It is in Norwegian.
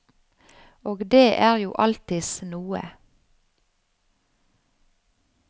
Og det er jo alltids noe.